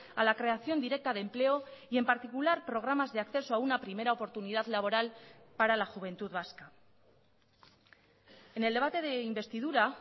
a la creación directa de empleo y en particular programas de acceso a una primera oportunidad laboral para la juventud vasca en el debate de investidura